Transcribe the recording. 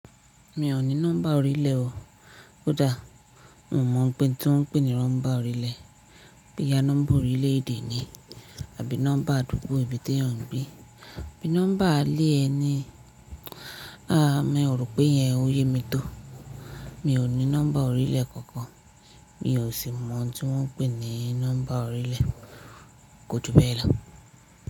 Mi ò ní nọ́mbà orílẹ̀ o. Ó dà? Mo mọ̀ ọ̀npin tí wọ́n ń pè ni rọ́mbà orílẹ̀. Boya nọ́mbà orílẹ̀ èdè ni àbí nọ́mbà àdúgbò ibi tí ẹyan ń gbé. Bí nọ́mbà alẹ́ ẹni. Aà! Mi ò rò pé iyen oyè mi tó. Mi ò ní nọ́mbà orílẹ̀ kankan. Mi ò sì mọ̀ ohun tí wọ́n ń pè ní nọ́mbà orílẹ̀. Ko túbẹ́ẹ̀ lọ.